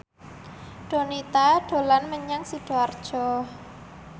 Donita dolan menyang Sidoarjo